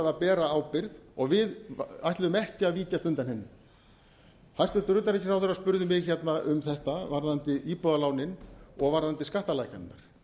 að bera ábyrgð og við ætluðum ekki að víkjast undan henni hæstvirts utanríkisráðherra spurði mig hérna um þetta varðandi íbúðalánin og varðandi skattalækkanirnar